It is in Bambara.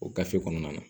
O gafe kɔnɔna na